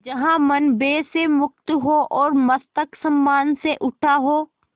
जहाँ मन भय से मुक्त हो और मस्तक सम्मान से उठा हो